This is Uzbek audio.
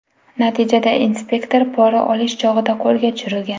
Natijada inspektor pora olish chog‘ida qo‘lga tushirilgan.